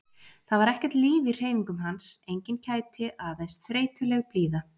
Það var ekkert líf í hreyfingum hans, engin kæti, aðeins þreytuleg blíða.